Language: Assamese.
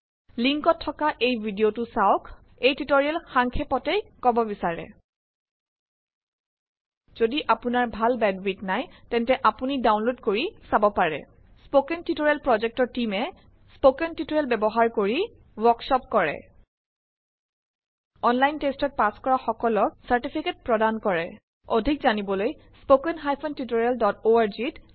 লিংক ত থকা এই ভিডিঅ চাওঁক এই টিউটোৰিয়েল সাংক্ষেপতেই কব বিচাৰে। যদি আপুনাৰ ভাল বেণ্ডউইথ নাই তেন্তে আপুনি ডাউনলোড কৰি চাব পাৰে। স্পকেন টুইটৰিয়েল প্ৰজেক্ট টিমে স্পকেন টুউটৰিয়েল ব্যৱহাৰ কৰি ৱৰ্ককচপ পাতে। অনলাইন টেষ্টত পাছ কৰা সকলক চাৰ্টিফিকেট প্ৰদান কৰক। অধিক জানিবলৈ লিখক spoken tutorialorg